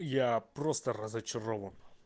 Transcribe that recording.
я просто разочарован